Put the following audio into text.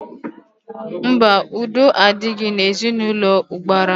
Mba, udo adịghị n'ezinaụlọ ụbara m